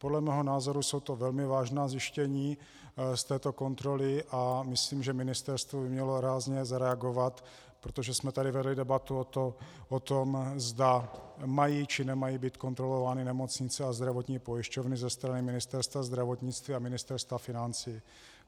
Podle mého názoru jsou to velmi vážná zjištění z této kontroly a myslím, že Ministerstvo by mělo rázně zareagovat, protože jsme tady vedli debatu o tom, zda mají, či nemají být kontrolovány nemocnice a zdravotní pojišťovny ze strany Ministerstva zdravotnictví a Ministerstva financí.